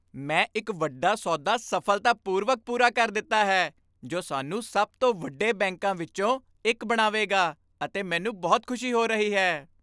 ਮੈਂ ਇੱਕ ਵੱਡਾ ਸੌਦਾ ਸਫ਼ਲਤਾਪੂਰਵਕ ਪੂਰਾ ਕਰ ਦਿੱਤਾ ਹੈ ਜੋ ਸਾਨੂੰ ਸਭ ਤੋਂ ਵੱਡੇ ਬੈਂਕਾਂ ਵਿੱਚੋਂ ਇੱਕ ਬਣਾਵੇਗਾ ਅਤੇ ਮੈਨੂੰ ਬਹੁਤ ਖੁਸ਼ੀ ਹੋ ਰਹੀ ਹੈ।